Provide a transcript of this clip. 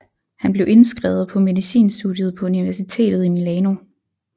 Han blev indskrevet på medicinstudiet på universitetet i Milano